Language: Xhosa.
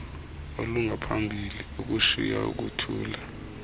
olungaphambili ukushiya ukuthula